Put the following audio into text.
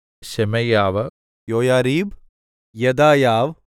ശെമയ്യാവ് യോയാരീബ് യെദായാവ്